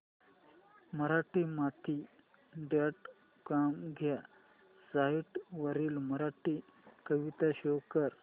Marathimati dot com ह्या site वरील मराठी कविता शो कर